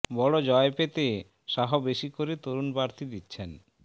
বড় জয় পেতে শাহ বেশি করে তরুণ প্রার্থী দিচ্ছেন